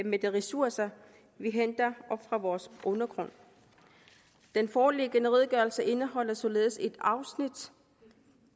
med de ressourcer vi henter op fra vores undergrund den foreliggende redegørelse indeholder således et afsnit